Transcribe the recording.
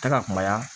Tɛ ka kumaya